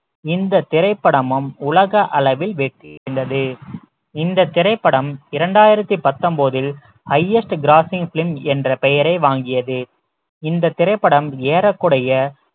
இந்த திரைப்படமும் உலக அளவில் வெற்றி அடைந்தது இந்த திரைப்படம் இரண்டாயிரத்தி பத்தொன்பதில் highest grossing film என்ற பெயரை வாங்கியது இந்த திரைப்படம் ஏறக்குறைய